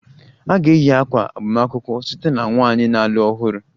A ga-eyi ákwà agbamakwụkwọ site na nwanyị na-alụ ọhụrụ